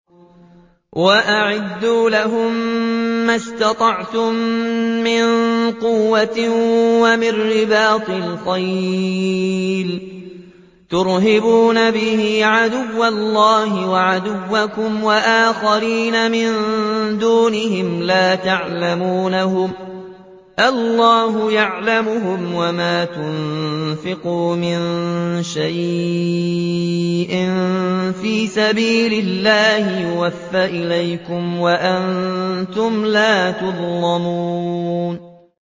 وَأَعِدُّوا لَهُم مَّا اسْتَطَعْتُم مِّن قُوَّةٍ وَمِن رِّبَاطِ الْخَيْلِ تُرْهِبُونَ بِهِ عَدُوَّ اللَّهِ وَعَدُوَّكُمْ وَآخَرِينَ مِن دُونِهِمْ لَا تَعْلَمُونَهُمُ اللَّهُ يَعْلَمُهُمْ ۚ وَمَا تُنفِقُوا مِن شَيْءٍ فِي سَبِيلِ اللَّهِ يُوَفَّ إِلَيْكُمْ وَأَنتُمْ لَا تُظْلَمُونَ